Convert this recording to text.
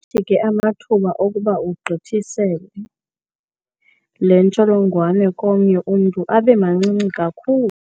Athi ke amathuba okuba ugqithisele le ntsholongwane komnye umntu abe mancinci kakhulu.